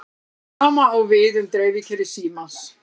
Sama á við um dreifikerfi símans.